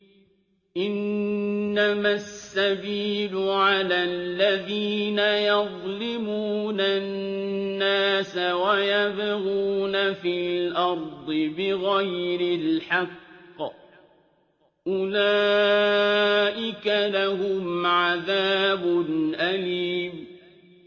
إِنَّمَا السَّبِيلُ عَلَى الَّذِينَ يَظْلِمُونَ النَّاسَ وَيَبْغُونَ فِي الْأَرْضِ بِغَيْرِ الْحَقِّ ۚ أُولَٰئِكَ لَهُمْ عَذَابٌ أَلِيمٌ